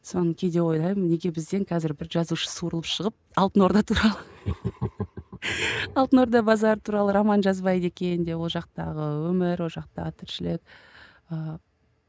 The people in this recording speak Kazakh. соны кейде ойлаймын неге бізден қазір бір жазушы суырылып шығып алтын орда туралы алтын орда базары туралы роман жазбайды екен деп ол жақтағы өмір ол жақтағы тіршілік ыыы